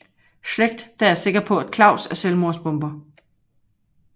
Schlect der er sikker på at Claus er selvmordsbomber